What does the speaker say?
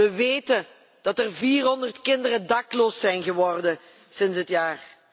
We weten dat er 400 kinderen dakloos zijn geworden sinds dit jaar.